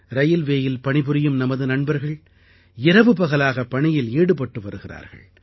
ரயில்வேயில் பணிபுரியும் நமது நண்பர்கள் இரவுபகலாக பணியில் ஈடுபட்டு வருகிறார்கள்